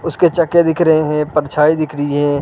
उसके चकके दिख रहे हैं परछाई दिख रही है।